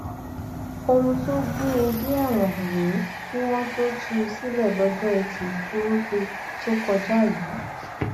ohun tó gbé e dé ẹwọn rèé kí wọn tóó tú u sílẹ lọjọ etí furuufee tó kọjá yìí